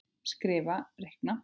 Skrifa- reikna